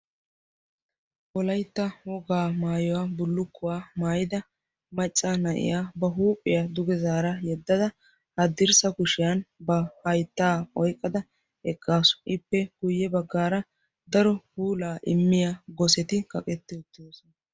wolaytta wogaa maayuwaa maayidi maccaa na'iyaa ba huuphiyaa dugee zaara yedadda haddirssa kushiya ba haytta oyqqada eqqaasu, ippe guyye baggaara daro puula immiyaa gosetti kaqetti uttidoosona.